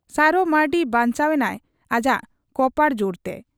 ᱥᱟᱨᱚ ᱢᱟᱺᱨᱰᱤ ᱵᱟᱧᱪᱟᱣ ᱮᱱᱟᱭ ᱟᱡᱟᱜ ᱠᱚᱯᱟᱲ ᱡᱩᱨᱛᱮ ᱾